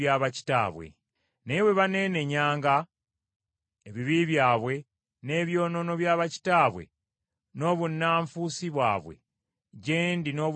“Naye bwe baneenenyanga ebibi byabwe n’ebyonoono bya bakitaabwe n’obunnanfuusi bwabwe gye ndi n’obujeemu bwabwe,